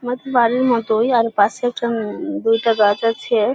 বাত বাড়ির মতোই আর পাশে একটা উম দুইটা গাছ আছে।